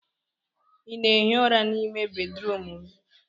ị na-ehi ụra n'ime bedrum m?